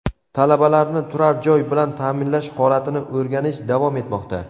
Talabalarni turar-joy bilan ta’minlash holatini o‘rganish davom etmoqda.